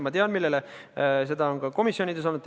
Ma tean, millele te viitate – seda on ka komisjonides olnud.